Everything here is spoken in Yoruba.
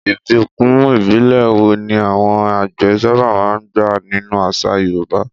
Ìbùkún ìbílẹ̀ wo ni àwọn àgbẹ̀ sábà máa ń gbà nínú àṣà Yorùbá?